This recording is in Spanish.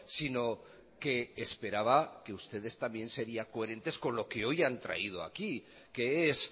si no que esperaba que ustedes también serían coherentes con lo que hoy han traído aquí que es